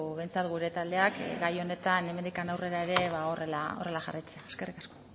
behintzat gure taldeak gai honetan hemendik aurrera ba horrela jarraitzea eskerrik asko